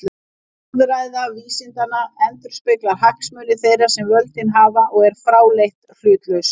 Orðræða vísindanna endurspeglar hagsmuni þeirra sem völdin hafa og er fráleitt hlutlaus.